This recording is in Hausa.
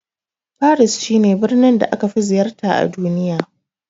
Faris shi ne birnin da aka fi ziyarta a duniya